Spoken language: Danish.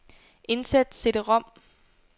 Indsæt cd-rom.